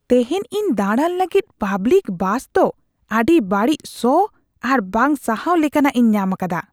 ᱛᱤᱦᱤᱧ ᱤᱧ ᱫᱟᱲᱟᱱ ᱞᱟᱹᱜᱤᱫ ᱯᱟᱵᱽᱞᱤᱠ ᱵᱟᱥᱫᱚ ᱟᱹᱰᱤ ᱵᱟᱹᱲᱤᱡ ᱥᱚ ᱟᱨ ᱵᱟᱝ ᱥᱟᱦᱟᱣ ᱞᱮᱠᱟᱱᱟᱜ ᱤᱧ ᱧᱟᱢ ᱟᱠᱟᱫᱟ ᱾